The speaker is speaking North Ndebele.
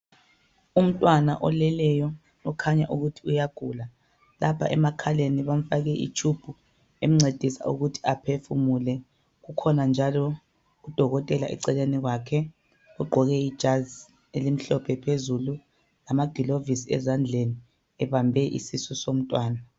Umntwana oleleyo, okhanya ukuthi uyagula. Lapha emakhaleni bamfake itshubhu emncedisa ukuthi aphefumule. Kukhona njalo udokotela eceleni kwakhe, ugqoke ijasi elimhlophe phezulu, lamagilovusi ezandleni, ebambe isisu somntwana.